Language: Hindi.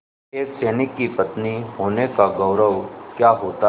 एक सैनिक की पत्नी होने का गौरव क्या होता है